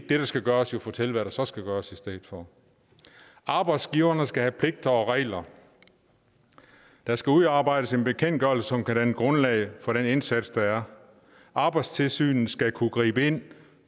det der skal gøres fortælle hvad der så skal gøres i stedet for arbejdsgiverne skal have pligter og regler der skal udarbejdes en bekendtgørelse som kan danne grundlag for den indsats der er arbejdstilsynet skal kunne gribe ind